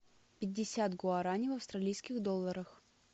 пятьдесят гуарани в австралийских долларах